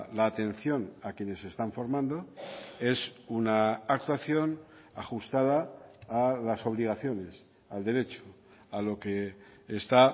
la atención a quienes se están formando es una actuación ajustada a las obligaciones al derecho a lo que está